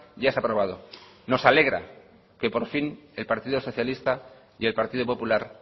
ya se ha probado nos alegra que por fin el partido socialista y el partido popular